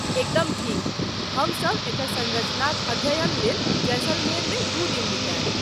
एकदम ठीक! हमसभ एकर संरचनाक अध्ययन लेल जैसलमेरमे दू दिन बितायब।